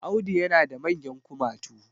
Audu yana da manyan kumatu